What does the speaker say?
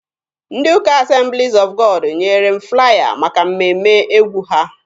Ndị ụka Assemblies of God nyere m flaya maka mmemme egwu ha.